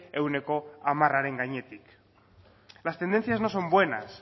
ehuneko hamararen gainetik las tendencias no son buenas